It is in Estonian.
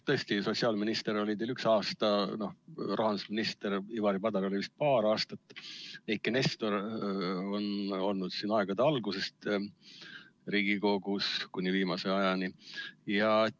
Tõesti, sotsiaalminister oli teil üks aasta, rahandusminister Ivari Padar oli ametis vist paar aastat, aga Eiki Nestor on olnud Riigikogus aegade algusest kuni viimase ajani.